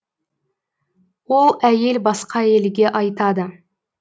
ол әйел басқа әйелге айтады